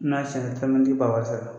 N'a si la b'a wari sara.